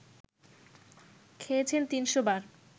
খেয়েছেন ৩০০ বার